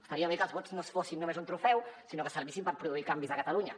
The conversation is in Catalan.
estaria bé que els vots no fossin només un trofeu sinó que servissin per produir canvis a catalunya